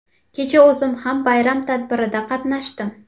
Kecha o‘zim ham bayram tadbirida qatnashdim.